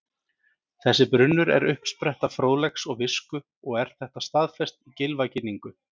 Þessi brunnur er uppspretta fróðleiks og visku og er þetta staðfest í Gylfaginningu: